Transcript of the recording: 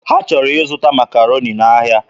Ha chọrọ ịzụta Makaroni n'ahịa.